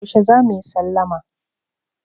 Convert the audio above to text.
Yaushe za mu yi sallama?